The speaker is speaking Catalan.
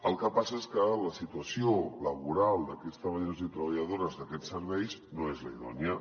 el que passa és que la situació laboral d’aquests treballadors i treballadores d’aquests serveis no és la idònia